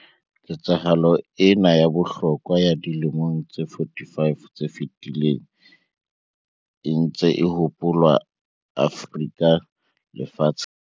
Ketsahalo ena ya bohlokwa ya dilemong tse 45 tse fetileng e ntse e hopolwa Afrika le lefatsheng.